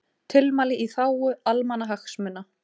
Tilmæli í þágu almannahagsmuna